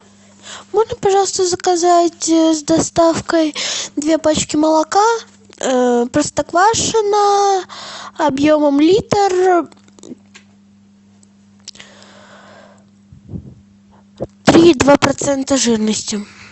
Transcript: можно пожалуйста заказать с доставкой две пачки молока простоквашино объемом литр три и два процента жирности